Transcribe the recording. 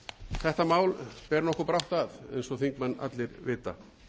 þetta mál ber nokkuð brátt að eins og þingmenn allir vita